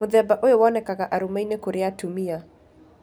Mũthemba ũyũ wonekaga arũmeinĩ kũrĩ atumia.